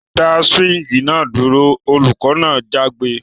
Dá swing náà dúro! olùkọ́ náà jágbe